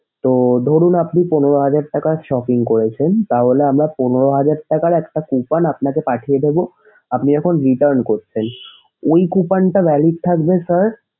তো ধরুন আপনি পনেরো হাজার টাকা shopping করেছেন তাহলে আমরা পনেরো হাজার টাকার একটা coupon আপনাকে পাঠিয়ে দিব আপনি যখন return করছেন। ঐ coupon টা valid থাকবে sir